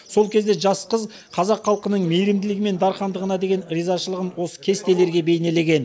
сол кезде жас қыз қазақ халқының мейірімділігі мен дархандығына деген ризашылығын осы кестелерге бейнелеген